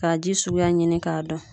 Ka ji suguya ɲini k'a dɔn